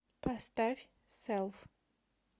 поставь селф